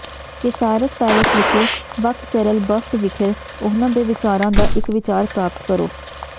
Caesars Palace ਵਿਖੇ Bacchanal buffet ਵਿਖੇ ਉਹਨਾਂ ਦੇ ਵਿਚਾਰਾਂ ਦਾ ਇੱਕ ਵਿਚਾਰ ਪ੍ਰਾਪਤ ਕਰੋ